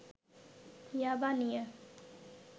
'ইয়াবা' নিয়ে